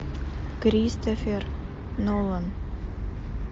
кристофер нолан